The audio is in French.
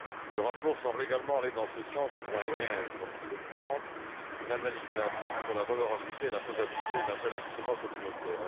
Le rapport semble également aller dans ce sens au point 15, lorsqu'il demande une analyse d'impact sur la valeur ajoutée et la faisabilité d'un tel instrument communautaire.